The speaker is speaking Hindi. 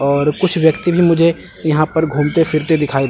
और कुछ व्यक्ति भी मुझे यहां पर घूमते फिरते दिखाई--